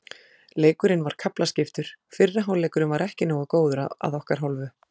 Leikurinn var kaflaskiptur, fyrri hálfleikurinn var ekki nógu góður að okkar hálfu.